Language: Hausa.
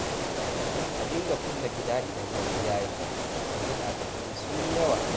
A dinga kulle gida idan dare yayi, yanzu ɓata gari sun yi yawa